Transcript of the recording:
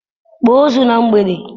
Kpọọ ozu na mgbede!